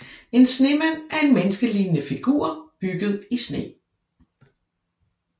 En snemand er en menneskelignende figur bygget i sne